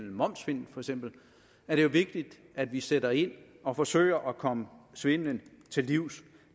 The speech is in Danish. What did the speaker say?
momssvindel er det jo vigtigt at vi sætter ind og forsøger at komme svindelen til livs